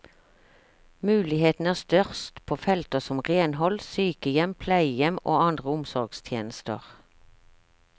Mulighetene er størst på felter som renhold, sykehjem, pleiehjem og andre omsorgstjenester.